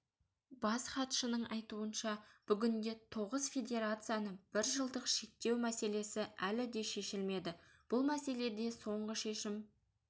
бас хатшының айтуынша бүгінде тоғыз федерацияны біржылдық шектеу мәселесі әлі де шешілмеді бұл мәселеде соңғы шешім